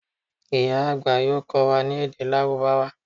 ìyá àgbà yoo kó̩ wa ni èdè lárúbáwá